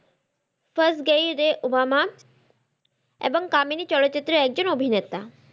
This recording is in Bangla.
ফাস গেয়ি রে উবামা এবং কামিনি চলচিত্রের একজন অভিনেতা